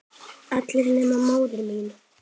Allir nema móðir mín.